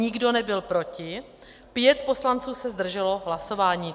Nikdo nebyl proti, pět poslanců se zdrželo hlasování.